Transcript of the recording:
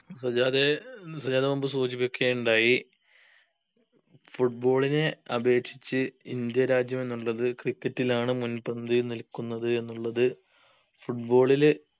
സജ്ജാദെ സജ്ജാദ് മുമ്പ് സൂചിപ്പിക്കുകയുണ്ടായി football നെ അപേക്ഷിച്ച് ഇന്ത്യ രാജ്യമെന്നുള്ളത് cricket ലാണ് മുൻപന്തിയിൽ നിൽക്കുന്നത് എന്നുള്ളത് football ഇല്